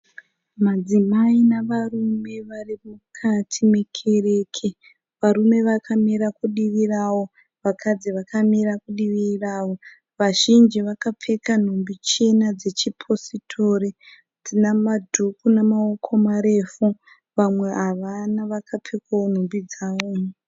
Madzimai nevarume varimukati mekereke. Marume vakamira kudivi ravo vakadzi vakamira kudivi ravo. Vazhinji vakapfeka nhumbi chena dzechipositori dzinemaduku nemawoko marefu vamwe avana vakapfeka wo nhumbi dzavo.